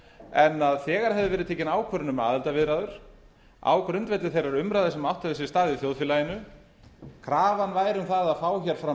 en þegar hefði verið tekin ákvörðun um aðildarviðræður á grundvelli þeirrar umræðu sem átt hefur sér stað í þjóðfélaginu krafan væri um það að fá fram